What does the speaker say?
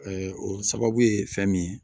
o sababu ye fɛn min ye